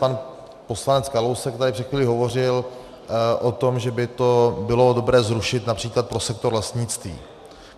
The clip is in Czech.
Pan poslanec Kalousek tady před chvílí hovořil o tom, že by to bylo dobré zrušit například pro sektor lesnictví.